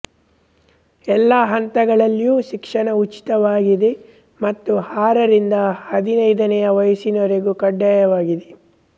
ಎಲ್ಲಾ ಹಂತಗಳಲ್ಲಿಯೂ ಶಿಕ್ಷಣ ಉಚಿತವಾಗಿದೆ ಮತ್ತು ಆರರಿಂದ ಹದಿನೈದನೆಯ ವಯಸ್ಸಿನವರೆಗೆ ಕಡ್ಡಾಯವಾಗಿದೆ